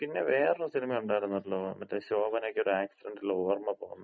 മ്മ്. പിന്നെ വേറൊര് സിനിമ ഒണ്ടാരുന്നല്ലോ. മറ്റേ ശോഭനക്കൊര് ആക്സിഡന്‍റില് ഓർമ്മ പോകുന്ന.